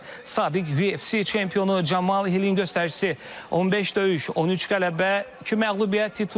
Sabiq UFC çempionu Camal Hillin göstəricisi 15 döyüş, 13 qələbə, iki məğlubiyyət titulla.